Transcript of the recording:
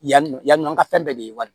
Yanni yanni an ka fɛn bɛɛ de ye wari